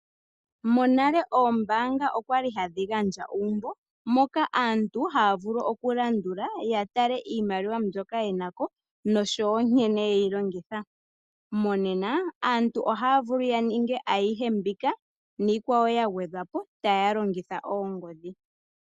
Monale oombaanga odhali hadhi gandja uumbo aantu ya tale iimaliwa mbyoka yenako nankene yeyi longitha. Monena aantu ohaya vulu okuninga ayihe mbika niikwawo ya gwedhwa po taya longitha oongodhi.